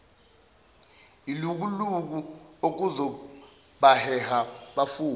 ilukuluku okuzobaheha bafune